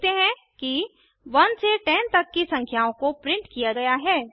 हम देखते हैं कि 1 से 10 तक की संख्याओं को प्रिंट किया गया है